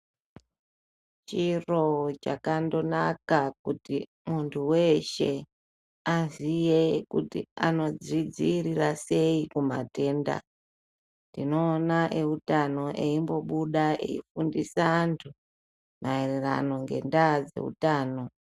Chiro chakandonaka kuti muntu weeshe aziye kuti anodzi dziirira sei kumatenda, tinoona eutano eimbo buda eifundisa antu maererano ngendaa dzeutano.